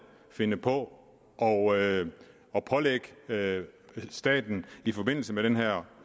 finde på at pålægge staten i forbindelse med den her